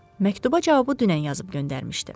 Məktuba cavabı dünən yazıb göndərmişdi.